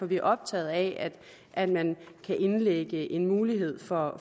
vi optaget af at man kan lægge en mulighed for